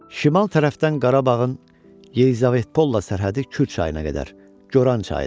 Şimal tərəfdən Qarabağın Yeyzavetpolla sərhədi Kür çayına qədər Goran çayıdır.